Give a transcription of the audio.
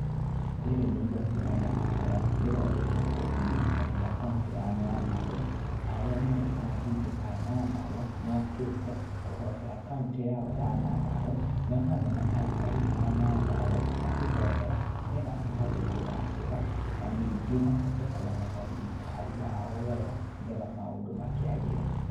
Rĩrĩ nĩ igongona rĩa mahoya, rĩthondeketwo nĩ thirikari ya kauntĩ ya Nyandarũa, arĩa nĩo ambunge a Nyandarũa, mokĩte kũhoera kauntĩ yao ya Nyandarũa, me hamwe na aikari a Nyandarũa, makĩhoera nĩgetha mahote kũgacĩra, na ningĩ mahote kũramata thirikari yao wega, nĩgetha maũndũ makĩagĩre.